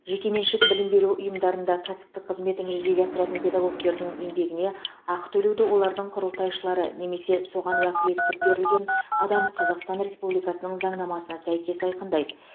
жекеменшік білім беру ұйымдарында кәсіптік қызметін жүзеге асыратын педагогтердің еңбегіне ақы төлеуді олардың құрылтайшылары немесе соған уәкілеттік берілген адам қазақстан республикасының заңнамасына сәйкес айқындайды